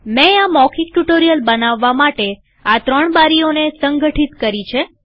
મેં આ મૌખિક ટ્યુ્ટોરીઅલ બનાવવા માટે આ ત્રણ બારીઓને સંગઠિત કરી છે